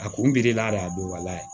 A kun biri a la de a don wa